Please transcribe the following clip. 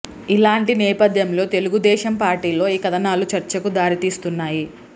ఇలాంటి నేపథ్యంలో తెలుగుదేశం పార్టీలో ఈ కథనాలు చర్చకు దారి తీస్తున్నాయి